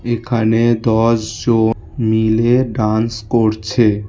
এখানে দশজন মিলে ডান্স করছে।